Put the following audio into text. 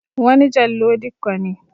Wani Jallo Dikko ne.